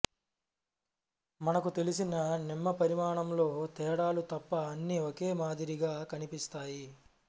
మనకు తెలిసిన నిమ్మ పరిమాణంలో తేడాలు తప్ప అన్ని ఒకే మాదిరిగా కనిపిస్తాయి